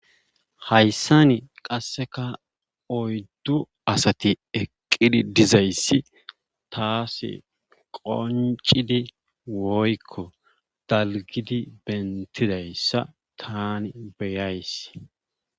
Hayssan qassekka oydu asati eqqizi dizayssi tas qonccidi woykko dalggidi bentidayssa taani beyays.